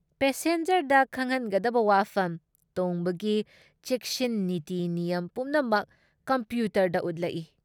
ꯄꯦꯁꯦꯟꯖꯔꯗ ꯈꯪꯍꯟꯒꯗꯕ ꯋꯥꯐꯝ, ꯇꯣꯡꯕꯒꯤ ꯆꯦꯛꯁꯤꯟ ꯅꯤꯇꯤ ꯅꯤꯌꯝ ꯄꯨꯝꯅꯃꯛ ꯀꯝꯄ꯭ꯌꯨꯇꯔꯗ ꯎꯠꯂꯛꯏ ꯫